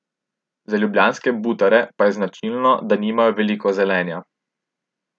Za ljubljanske butare pa je značilno, da nimajo veliko zelenja.